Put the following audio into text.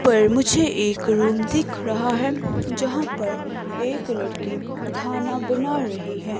पर मुझे एक रूम दिख रहा है जहां पर एक लड़की खाना बना रही हैं।